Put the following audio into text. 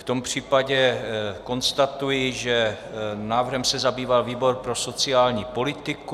V tom případě konstatuji, že návrhem se zabýval výbor pro sociální politiku.